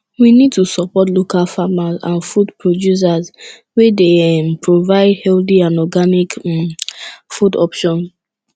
we need to support local farmers and food producers wey dey um provide healthy and organic um food options